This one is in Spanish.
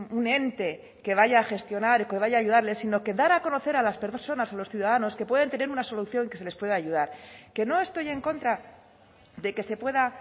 un ente que vaya a gestionar o que vaya ayudarles sino que dar a conocer a las personas a los ciudadanos que pueden tener una solución y que se les puede ayudar que no estoy en contra de que se pueda